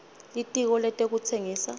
litiko letekutsengisa